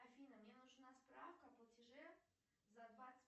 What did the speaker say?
афина мне нужна справка о платеже за двадцать